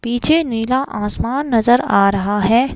पीछे नीला आसमान नजर आ रहा है।